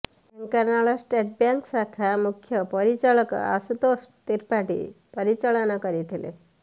Dhenkanal state bank ଶାଖା ମୁଖ୍ୟ ପରିଚାଳକ ଆଶୁତୋଷ ତ୍ରିପାଠୀ ପରିଚାଳନା କରିଥିଲେ